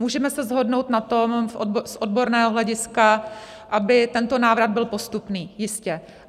Můžeme se shodnout na tom z odborného hlediska, aby tento návrat byl postupný, jistě.